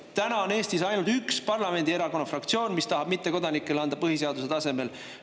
Täna on Eestis ainult üks parlamendifraktsioon, mis tahab mittekodanikele anda põhiseaduse tasemel valimisõigust.